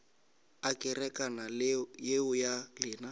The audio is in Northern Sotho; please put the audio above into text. a kerekana yeo ya lena